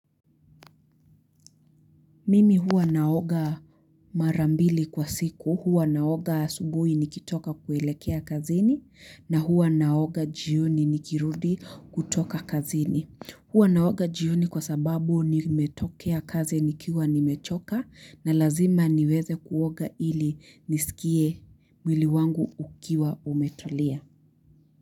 Mimi huwa naoga marambili kwa siku, huwa naoga asubuui nikitoka kuelekea kazini, na huwa naoga jioni nikirudi kutoka kazini. Huwa naoga jioni kwa sababu nimetokea kazi nikiwa nimechoka, na lazima niweze kuoga ili nisikie mwili wangu ukiwa umetulia.